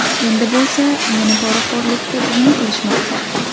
Endi bo‘lsa meni poraxo‘rlikda gumon qilishmoqda.